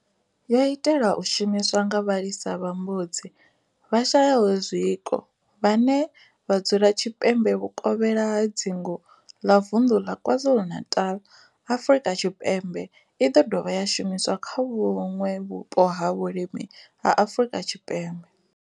Yo itelwa u shumiswa nga vhalisa vha mbudzi vhashayaho zwiko vhane vha dzula tshipembe vhukovhela ha dzingu ḽa vunḓu ḽa KwaZulu-Natal, Afrika Tshipembe i ḓo dovha ya shumiswa kha vhuṋwe vhupo ha vhulimi ha Afrika Tshipembe.